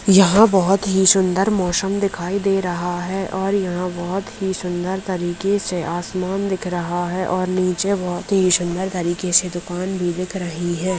यहाँ बहोत ही सुन्दर मौसम दिखाई दे रहा है। और यहाँ बहोत ही सुन्दर तरीके से आसमान दिख रहा है और नीचे बहोत ही सुन्दर तरीके से दुकान भी दिख रही है।